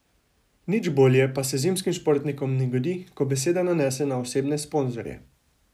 Nič bolje pa se zimskim športnikom ne godi, ko beseda nanese na osebne sponzorje.